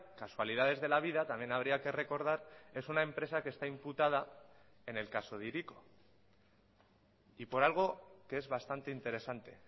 casualidades de la vida también habría que recordar es una empresa que está imputada en el caso de hiriko y por algo que es bastante interesante